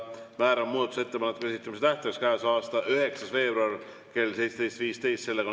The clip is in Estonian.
Määran muudatusettepanekute esitamise tähtajaks käesoleva aasta 9. veebruari kell 17.15.